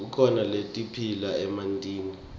kukhona letiphila emantini